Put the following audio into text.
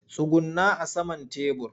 Tsugunna a saman tebur!